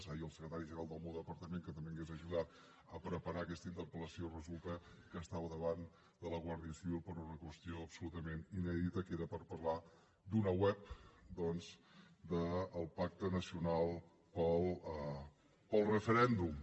ahir el secretari general del meu departament que també m’hauria ajudat a preparar aquesta interpel·lació resulta que estava davant de la guàrdia civil per una qüestió absolutament inèdita que era per parlar d’una web doncs del pacte nacional pel referèndum